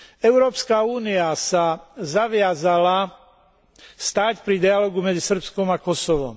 Európska únia sa zaviazala stáť pri dialógu medzi Srbskom a Kosovom.